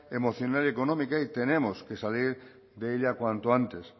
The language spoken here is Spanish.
emocional y económica y tenemos que salir de ella cuanto antes